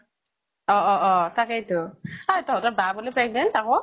অ অ অ, তাকেই তো। ঐ তহঁতৰ বা বুলে pregnant আকৌ?